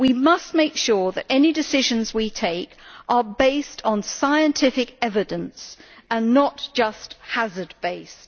We must make sure that any decisions we take are based on scientific evidence and are not only hazard based.